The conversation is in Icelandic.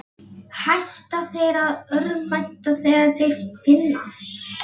Hætta þeir að örvænta þegar þeir finnast?